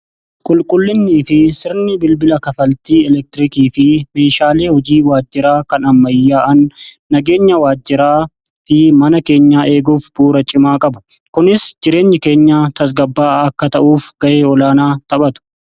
Qulqullinni fi sirni bilbila kafaltii elektirikii fi meeshaalee hojii waajjiraa kan ammayyaa'an nageenya waajjiraa fi mana keenyaa eeguuf bu 'uura cimaa qabu kunis jireenyi keenya tasgabbaa'a akka ta'uuf ga'e olaanaa taphatu.